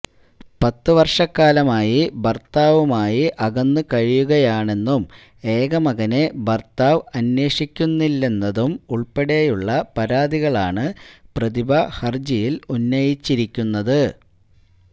പത്ത് വർഷക്കാലമായി ഭർത്താവുമായി അകന്ന് കഴിയുകയാണെന്നും ഏക മകനെ ഭർത്താവ് അന്വേഷിക്കുന്നില്ലെന്നതും ഉൾപ്പടെയുള്ള പരാതികളാണ് പ്രതിഭ ഹർജിയിൽ ഉന്നയിച്ചിരിക്കുന്നത്